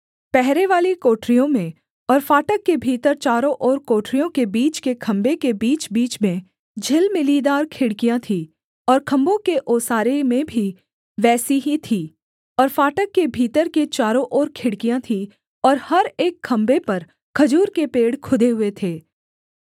पहरेवाली कोठरियों में और फाटक के भीतर चारों ओर कोठरियों के बीच के खम्भे के बीचबीच में झिलमिलीदार खिड़कियाँ थी और खम्भों के ओसारे में भी वैसी ही थी और फाटक के भीतर के चारों ओर खिड़कियाँ थीं और हर एक खम्भे पर खजूर के पेड़ खुदे हुए थे